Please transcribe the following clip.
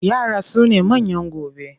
Yara sune manyan gobe.